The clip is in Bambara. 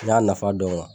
N y'a nafa dɔn